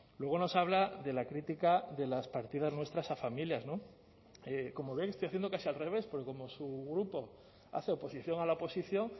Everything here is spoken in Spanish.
luego nos habla de la crítica de las partidas nuestras a familias no como ve estoy haciendo casi al revés porque como su grupo hace oposición a la oposición